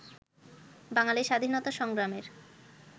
বাঙালি স্বাধীনতা সংগ্রামের